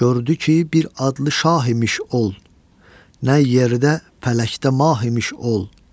Gördü ki, bir adlı şah imiş ol, nə yerdə, fələkdə mah imiş ol.